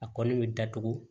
A kɔni bɛ datugu